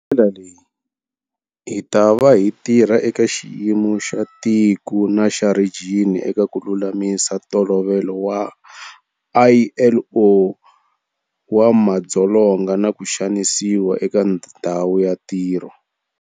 Hi ndlela leyi, hitava hi tirha eka xiyimo xa tiko na xa rhijini eka ku lulamisa Ntolovelo wa ILO wa madzolonga na ku xanisiwa eka ndhawu ya ntirho.